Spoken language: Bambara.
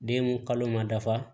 Den kalo ma dafa